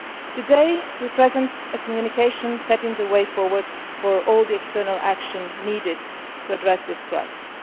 Today, we are presenting a communication setting out the way forward for all the external action needed to address this crisis.